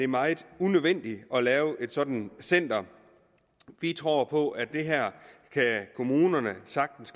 meget unødvendigt at lave et sådant center vi tror på at kommunerne sagtens